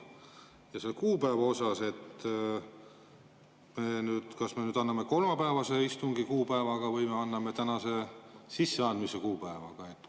Selle kuupäeva kohta: kas me anname kolmapäevase istungi kuupäevaga või me anname tänase, sisseandmise kuupäevaga?